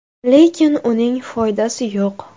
Lekin uning foydasi yo‘q.